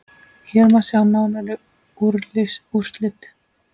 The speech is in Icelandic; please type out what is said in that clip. Hér má sjá nánari úrslit.